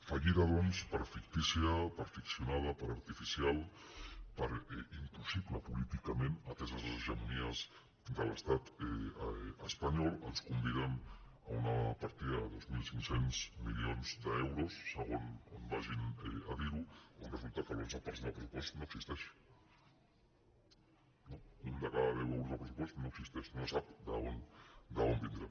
fallida doncs per fictícia per ficcionada per artificial per impossible políticament ateses les hegemonies de l’estat espanyol ens conviden a una partida de dos mil cinc cents milions d’euros segons on vagin a dir ho on resulta que l’onze per cent del pressupost no existeix no un de cada deu euros del pressupost no existeix no se sap d’on vindrà